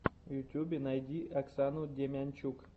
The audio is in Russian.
в ютьюбе найди оксану демянчук